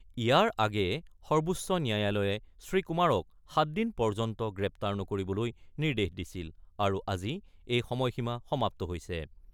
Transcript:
ইয়াৰ আগেয়ে সৰ্বোচ্চ ন্যায়ালয়ে শ্ৰীকুমাৰক সাত দিন পৰ্যন্ত গ্ৰেপ্তাৰ নকৰিবলৈ নিৰ্দেশ দিছিল আৰু আজি এই সময়সীমা সমাপ্ত হৈছে।